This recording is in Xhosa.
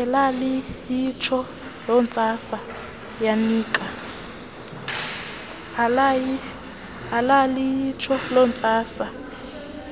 elaliyitsho lontsasa